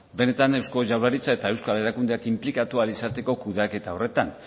benetan eusko jaurlaritza eta euskal erakundeak inplikatu ahal izateko kudeaketa horretan